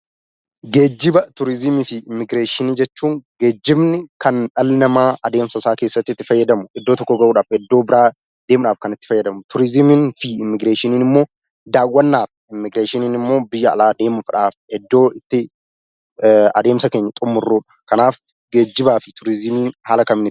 Geejjiba turizimii fi immigreeshinii jechuun geejjibni kan dhalli namaa adeemsa isaa keessatti itti fayyadamu fi bakka tokkoo gara bakka biraatti deemuudhaaf kan isa fayyadudha. Turizimiin iddoo daawwannaa yoo ta'u immigreeshiniin immoo biyya tokkoo gara biyya biraatti imaluu jechuudha.